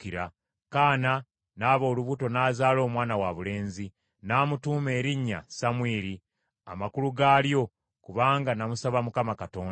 Kaana n’aba olubuto n’azaala omwana wabulenzi. N’amutuuma erinnya Samwiri, amakulu gaalyo, “Kubanga namusaba Mukama Katonda.”